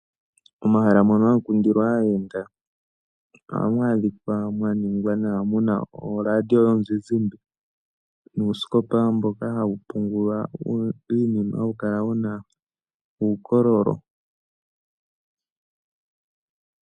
Momahala mono hamu kundilwa aayenda ohamu adhikwa mwa ningwa nawa muna oradio yomuzizimba, nuusikopa mboka hawu pungula iinima hawu kala wuna uukololo.